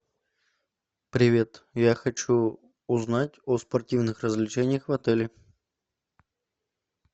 привет я хочу узнать о спортивных развлечениях в отеле